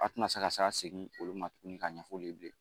A tɛna se ka se ka segin olu ma tuguni ka ɲɛfɔ olu ye bilen